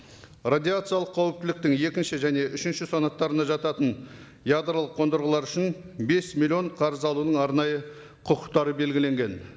радиациялық қауіптіліктің екінші және үшінші санаттарына жататын ядролық қондырғылар үшін бес миллион қарыз алудың арнайы құқықтары белгіленген